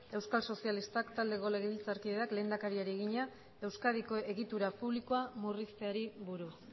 euskal sozialistak taldeko legebiltzarkideak lehendakariari egina euskadiko egitura publikoa murrizteari buruz